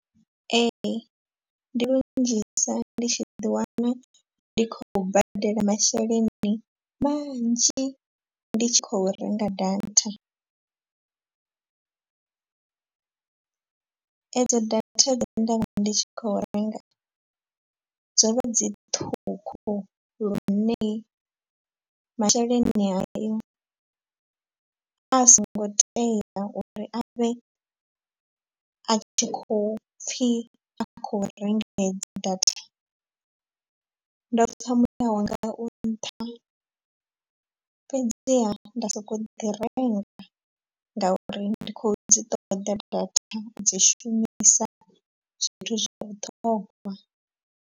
Ee ndi lunzhisa ndi tshi ḓi wana ndi khou badela masheleni manzhi ndi tshi khou renga data . Edzo data dze nda vha ndi tshi khou renga dzo vha dzi ṱhukhu lune masheleni hayo a songo tea uri a vhe a tshi khou pfhi a khou renga hedzo data. Ndo pfha muyawanga u nṱha fhedziha nda soko ḓi renga ngauri ndi khou dzi ṱoḓa data u dzi shumisa zwithu zwa vhuṱhogwa.